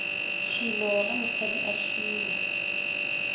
tšhilo ge mosadi a šila